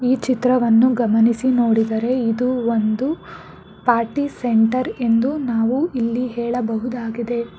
ಈ ಚಿತ್ರವನ್ನು ಗಮನಿಸಿ ನೋಡಿದರೆ ಇದು ಒಂದು ಪಾರ್ಟಿ ಸೆಂಟರ್ ಎಂದು ನಾವು ಇಲ್ಲಿ ಹೇಳಬಹುದಾಗಿದೆ.